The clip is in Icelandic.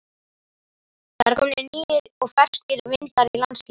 Það eru komnir nýir og ferskir vindar í landsliðið?